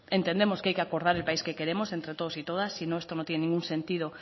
entendemos que hay que acordar el país que queremos entre todos y todas sino esto no tiene ningún sentido